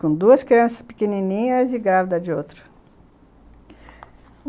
Com duas crianças pequenininhas e grávida de outra.